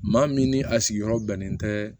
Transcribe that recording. Maa min ni a sigiyɔrɔ bɛnnen tɛ